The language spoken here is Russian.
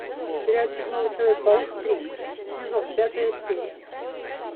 сериальчик новый человек паук три сезон пятая серия